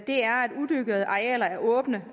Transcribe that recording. udyrkede arealer er åbne